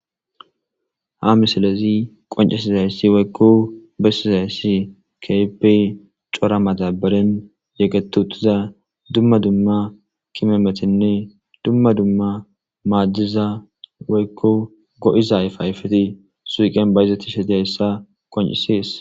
Ha misilezi qoncesizayssi woykko bessizayssi keepey cora madaberen yegetu utiza dumma dumma kimometenne dumma dumma maaddiza woykko go'iza ayfayfeti suuqen bayizatishe dizayssa qoncisees.